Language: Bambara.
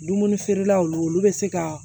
Dumuni feerelaw olu bɛ se ka